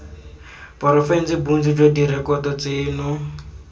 porofense bontsi jwa direkoto tseno